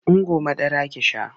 Ungo madara ki sha!